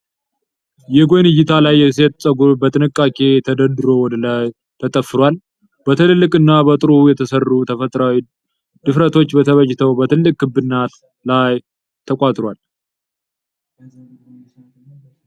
የጎን እይታ ላይ የሴት ፀጉር በጥንቃቄ ተደርድሮ ወደ ላይ ተጠፍሯል። በትልልቅና በጥሩ የተሠሩ ተፈጥሯዊ ድፍረቶች ተበጅተው በትልቅ ክብ አናት ላይ ተቋጥሯል።